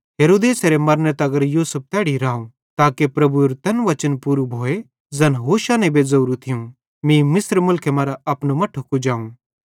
हेरोदेसेरे मरने तगर यूसुफ तैड़ी राव ताके प्रभुएरू तैन वचन पूरू भोए ज़ैन होशे नेबे लिखोरू थियूं मीं मिस्र मुलखे मरां अपनू मट्ठू कुजाव